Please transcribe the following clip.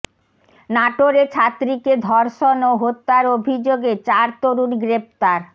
নাটোরে ছাত্রীকে ধর্ষণ ও হত্যার অভিযোগে চার তরুণ গ্রেপ্তার